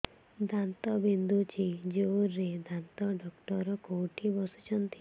ଦାନ୍ତ ବିନ୍ଧୁଛି ଜୋରରେ ଦାନ୍ତ ଡକ୍ଟର କୋଉଠି ବସୁଛନ୍ତି